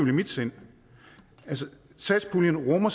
i mit sind satspuljen rummer